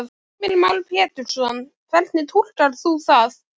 Heimir Már Pétursson: Hvernig túlkar þú það?